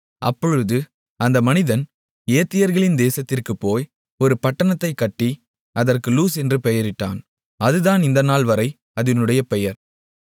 அப்பொழுது அந்த மனிதன் ஏத்தியர்களின் தேசத்திற்குப் போய் ஒரு பட்டணத்தைக் கட்டி அதற்கு லூஸ் என்று பெயரிட்டான் அதுதான் இந்த நாள்வரை அதினுடைய பெயர்